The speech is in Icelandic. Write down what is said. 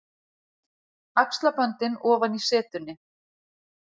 Axlaböndin ofan í setunni.